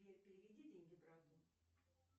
сбер переведи деньги брату